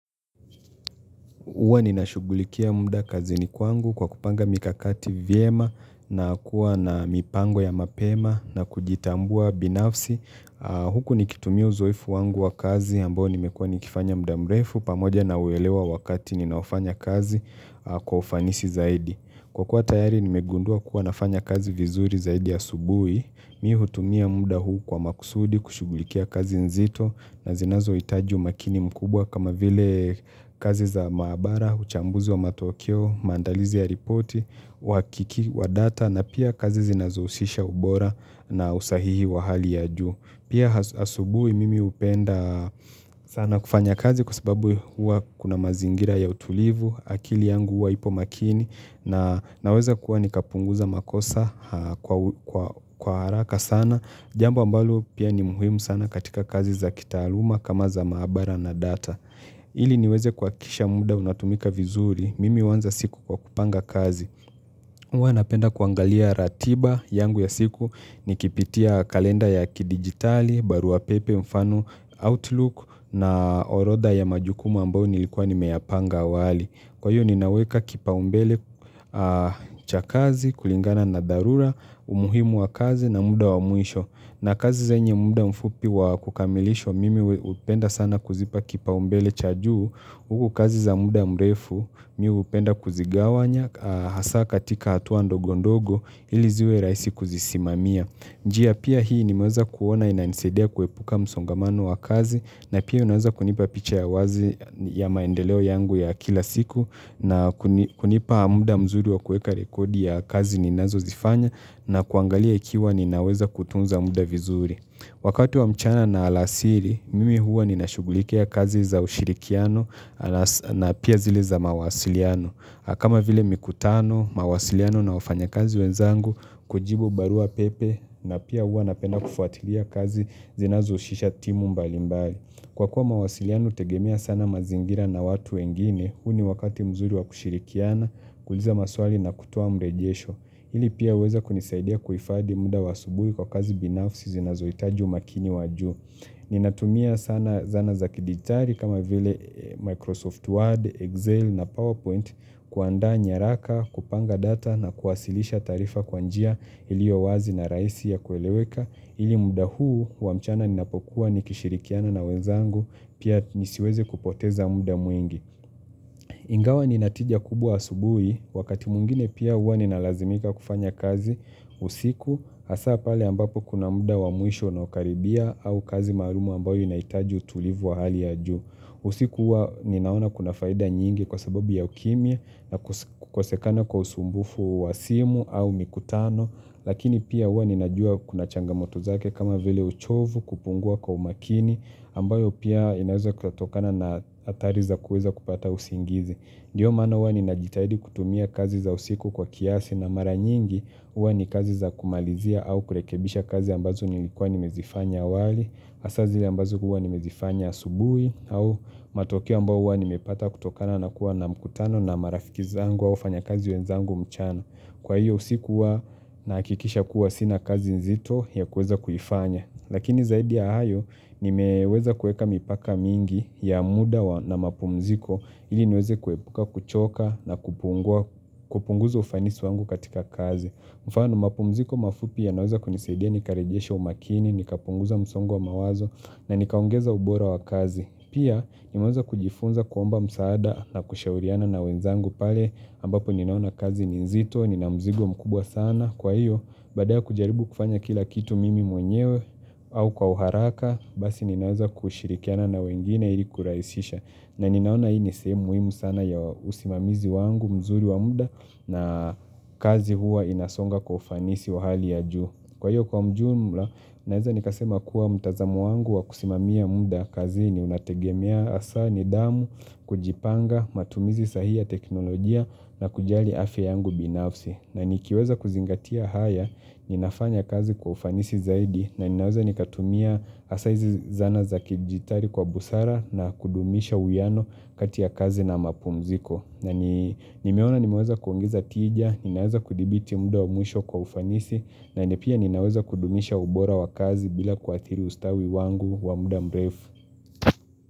Huwa ninashugulikia mda kazini kwangu kwa kupanga mikakati vyema na kuwa na mipango ya mapema na kujitambua binafsi huku nikitumia uzoefu wangu wa kazi ambao nimekua nikifanya mda mrefu pamoja na uelewa wakati ninaofanya kazi kwa ufanisi zaidi. Kwa kuwa tayari nimegundua kuwa nafanya kazi vizuri zaidi asubuhi Mi hutumia muda huu kwa makusudi kushughulikia kazi nzito na zinazoitaji umakini mkubwa kama vile kazi za maabara, uchambuzi wa matokeo, maandalizi ya ripoti, wakiki wa data na pia kazi zinazousisha ubora na usahihi wa hali ya juu. Pia asubuhi mimi upenda sana kufanya kazi kwa sababu huwa kuna mazingira ya utulivu, akili yangu huwa ipo makini na naweza kuwa nikapunguza makosa kwa haraka sana jambo ambalo pia ni muhimu sana katika kazi za kitaaluma kama za maabara na data. Ili niweze kuhakisha muda unatumika vizuri, mimi uanza siku kwa kupanga kazi. Huwa napenda kuangalia ratiba yangu ya siku nikipitia kalenda ya kidigitali, baruapepe mfano outlook na orodha ya majukumu ambao nilikuwa nimeyapanga awali. Kwa hiyo ninaweka kipaumbele cha kazi kulingana na dharura, umuhimu wa kazi na muda wa mwisho. Na kazi zenye muda mfupi wa kukamilishwa mimi upenda sana kuzipa kipaumbele cha juu, huku kazi za muda mrefu mi upenda kuzigawanya hasa katika hatua ndogo ndogo ili ziwe rahisi kuzisimamia. Njia pia hii nimeweza kuona inanisadia kuepuka msongamano wa kazi na pia unaweza kunipa picha ya wazi ya maendeleo yangu ya kila siku na kunipa muda mzuri wa kueka rekodi ya kazi ninazozifanya na kuangalia ikiwa ninaweza kutunza muda vizuri. Wakati wa mchana na alasiri, mimi huwa ninashugulikia kazi za ushirikiano na pia zile za mawasiliano. Na kama vile mikutano, mawasiliano na wafanya kazi wenzangu, kujibu barua pepe na pia huwa napenda kufuatilia kazi zinazoushisha timu mbalimbali. Kwa kuwa mawasiliano utegemea sana mazingira na watu wengine, huu ni wakati mzuri wa kushirikiana, kuuliza maswali na kutoa mrejesho. Hili pia uweza kunisaidia kuhifadhi muda wa asubuhi kwa kazi binafsi zinazoitaji umakini wa juu. Ninatumia sana zana za kidigitari kama vile Microsoft Word, Excel na PowerPoint kuaanda nyaraka, kupanga data na kuwasilisha taarifa kwa njia ilio wazi na rahisi ya kueleweka ili muda huu wa mchana ninapokuwa nikishirikiana na wenzangu pia nisiweze kupoteza muda mwingi. Ingawa nina tija kubwa asubuhi, wakati mwingine pia huwa ninalazimika kufanya kazi usiku hasa pale ambapo kuna muda wa mwisho unaokaribia au kazi maarumu ambayo inaitaji utulivu wa hali ya juu. Usiku huwa ninaona kuna faida nyingi kwa sababu ya ukimya na kukosekana kwa usumbufu wa simu au mikutano, lakini pia huwa ninajua kuna changamoto zake kama vile uchovu, kupungua kwa umakini ambayo pia inaweza kutokana na athari za kuweza kupata usingizi. Ndiyo maana huwa ninajitahidi kutumia kazi za usiku kwa kiasi na mara nyingi huwa ni kazi za kumalizia au kurekebisha kazi ambazo nilikuwa nimezifanya awali hasa zile ambazo huwa nimezifanya asubuhi au matokeo ambao huwa nimepata kutokana na kuwa na mkutano na marafiki zangu au wafanyakazi wenzangu mchano. Kwa hiyo usiku huwa nahakikisha kuwa sina kazi nzito ya kuweza kuifanya. Lakini zaidi ya hayo nimeweza kueka mipaka mingi ya muda na mapumziko ili niweze kuepuka kuchoka na kupunguza ufanisi wangu katika kazi. Mfano mapumziko mafupi yanaweza kunisidia nikarejesha umakini, nikapunguza msongo wa mawazo na nikaongeza ubora wa kazi. Pia, nimeweza kujifunza kuomba msaada na kushauriana na wenzangu pale ambapo ninaona kazi ni nzito nina mzigo mkubwa sana Kwa hiyo, baada ya kujaribu kufanya kila kitu mimi mwenyewe au kwa uharaka, basi ninaweza kushirikiana na wengine ili kuraisisha. Na ninaona hii ni sehemu muhimu sana ya usimamizi wangu mzuri wa muda na kazi huwa inasonga kwa ufanisi wa hali ya juu. Kwa hiyo kwa mjumla naeza nikasema kuwa mtazamo wangu wa kusimamia muda kazi ni unategemea hasa nidhamu, kujipanga, matumizi sahihi ya teknolojia na kujali afya yangu binafsi. Na nikiweza kuzingatia haya, ninafanya kazi kwa ufanisi zaidi na ninaweza nikatumia hasa izi zana za kijitari kwa busara na kudumisha uwiyano kati ya kazi na mapumziko na nimeona nimeweza kuongeza tija, ninaweza kudhibiti muda wa mwisho kwa ufanisi na ni pia ninaweza kudumisha ubora wa kazi bila kuathiri ustawi wangu wa muda mrefu.